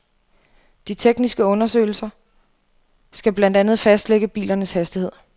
De tekniske undersøgelse skal blandt andet fastlægge bilernes hastighed.